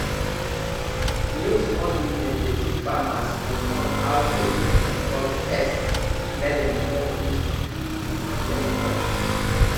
new small business dey teach farmers for phone how dem fit control pest mek dem no use too much chemicals